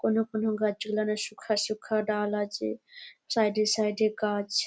কোনো কোনো গাছ ঝোলানো সুখা সুখা ডাল আছে। সাইড -এ -এ গাছ।